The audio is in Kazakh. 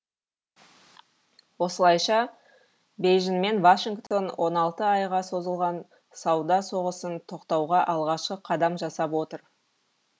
осылайша бейжің мен вашингтон он алты айға созылған сауда соғысын тоқтатуға алғашқы қадам жасап отыр